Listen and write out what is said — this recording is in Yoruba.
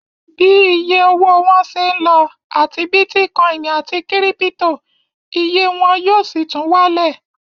Bí iye owó wọn ń ṣé lọ, àti bítíkọìnì àti kírípítò, iye wọn yóò sì tún wálẹ̀